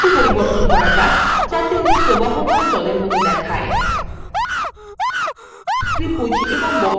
এই বক্ররেখাটিকে একটু পরিবর্তন করা যাক যাতে ওটি প্রবহমান জলএর মত দেখায়